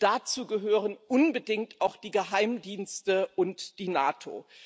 Dazu gehören unbedingt auch die Geheimdienste und die NATO.